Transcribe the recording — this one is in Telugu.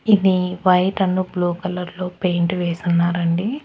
ఇది వైట్ అండ్ బ్లూ కలర్ లో పెయింట్ వేసి ఉన్నారండి.